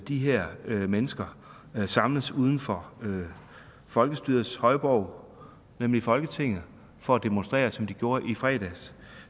de her mennesker samles uden for folkestyrets højborg nemlig folketinget for at demonstrere som de gjorde i fredags